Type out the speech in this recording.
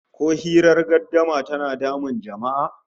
Ko hirar gardama tana damun jama'a?